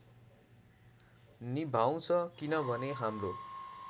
निभाउँछ किनभने हाम्रो